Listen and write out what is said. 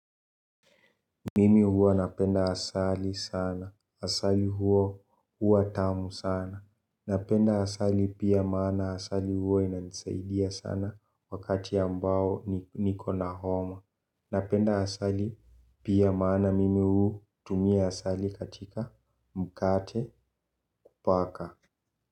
Mimi huwa napenda asali sana. Asali huwa huwa tamu sana. Napenda asali pia maana asali huwa inanisaidia sana wakati ambao niko na homa. Napenda asali pia maana mimi hutumia asali katika mkate kupaka.